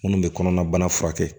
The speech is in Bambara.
Munnu be kɔnɔnabana furakɛ